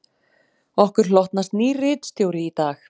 Okkur hlotnast nýr ritstjóri í dag